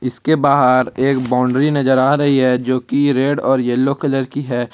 इसके बाहर एक बाउंड्री नजर आ रही है जो कि रेड और येलो कलर की है।